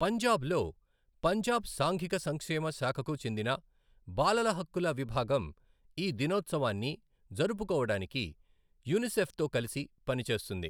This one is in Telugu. పంజాబ్లో, పంజాబ్ సాంఘిక సంక్షేమ శాఖకు చెందిన బాలల హక్కుల విభాగం ఈ దినోత్సవాన్ని జరుపుకోవడానికి యూనిసెఫ్తో కలిసి పని చేస్తుంది.